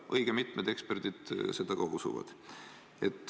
Õige mitmed eksperdid seda usuvad.